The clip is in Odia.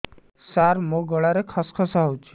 ସାର ମୋ ଗଳାରେ ଖସ ଖସ ହଉଚି